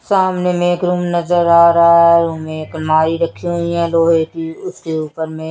सामने में एक रूम नजर आ रहा हैं रूम में एक रखीं हुई हैं लोहे की उसके ऊपर में--